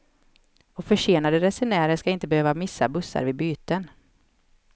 Och försenade resenärer skall inte behöva missa bussar vid byten.